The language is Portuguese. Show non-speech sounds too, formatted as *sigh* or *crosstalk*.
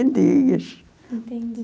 *unintelligible* Entendi.